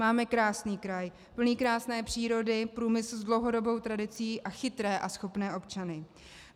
Máme krásný kraj, plný krásné přírody, průmysl s dlouhodobou tradicí a chytré a schopné občany.